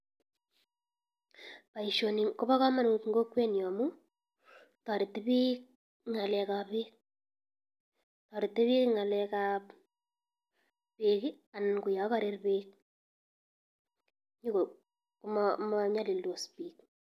Baishoni koba kamunut en kokwet nyu amu, tareti bik ng'ale ak bek, toreti bik ngale ak bek, anan ko ya karar bek komanyalildos bik.